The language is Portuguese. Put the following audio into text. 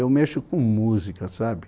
Eu mexo com música, sabe?